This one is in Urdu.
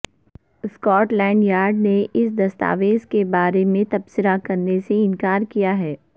سکاٹ لینڈ یارڈ نے اس دستاویز کے بارے میں تبصرہ کرنے سے انکار کیا ہے